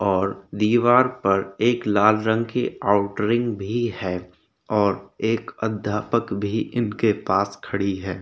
और दीवार पर एक लाल रंग की आउटरिंग भी है और एक अध्यापक भी उनके पास खड़ीं है।